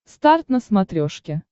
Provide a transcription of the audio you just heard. старт на смотрешке